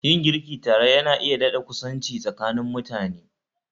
Yin girki tare Yana iya dadakusanci tsakanin mutane